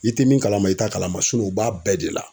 I tɛ min kalama i t'a kalama u b'a bɛɛ de la.